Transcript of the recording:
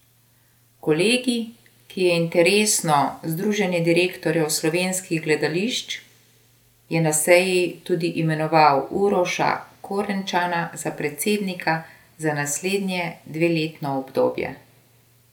Kolegij, ki je interesno združenje direktorjev slovenskih gledališč, je na seji tudi imenoval Uroša Korenčana za predsednika za naslednje dveletno obdobje.